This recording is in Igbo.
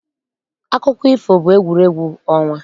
Akụkọ ifo bụ egwuregwu ọnwa.